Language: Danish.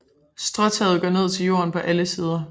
Stråtaget går ned til jorden på alle sider